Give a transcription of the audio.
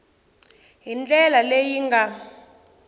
hi ndlela leyi yi nga